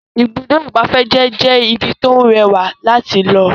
Ibùdó ìgbafẹ́ jẹ́ ibí tí ó rẹwà láti lọ